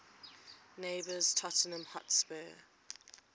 neighbours tottenham hotspur